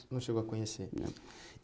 Não chegou a conhecer. Não